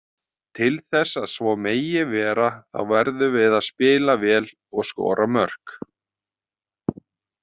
Til þess að svo megi vera þá verðum við að spila vel og skora mörk.